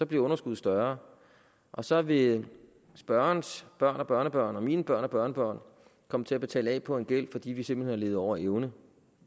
bliver underskuddet større og så vil spørgerens børn og børnebørn og mine børn og børnebørn komme til at betale af på gæld fordi vi simpelt hen har levet over evne